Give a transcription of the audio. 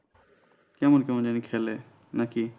কেমন কেমন জানি খেলে নাকি।